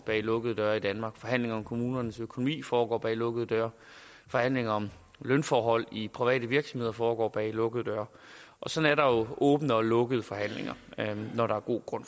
bag lukkede døre i danmark forhandlingerne om kommunernes økonomi foregår bag lukkede døre forhandlinger om lønforhold i private virksomheder foregår bag lukkede døre og sådan er åbne og lukkede forhandlinger når der er god grund